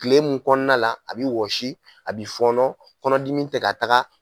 Kile mun kɔnona la, a bɛ wɔsi, a bɛ fɔnɔ, kɔnɔdimi tɛ ka taaga.